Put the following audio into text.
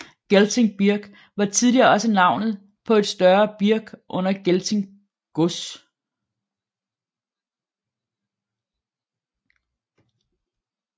Gelting Birk var tidligere også navnet på et større birk under Gelting gods